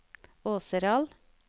Åseral